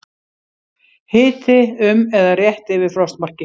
Hiti um eða rétt yfir frostmarki